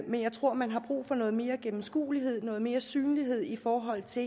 men jeg tror man har brug for noget mere gennemskuelighed noget mere synlighed i forhold til